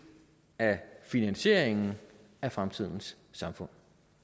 af finansieringen af fremtidens samfund